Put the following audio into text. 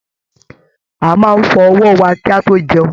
A máa n fọ ọwọ wà ki a to jẹun.